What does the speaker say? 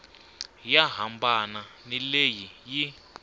yo hambana ni leyi yi